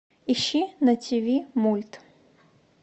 ищи на тв мульт